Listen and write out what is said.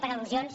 per al·lusions